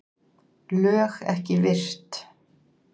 LÖG EKKI VIRT